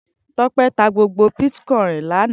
Tope tá gbógbó bitkòin è lànã